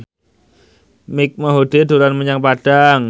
Mike Mohede dolan menyang Padang